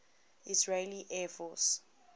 israeli air force